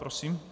Prosím.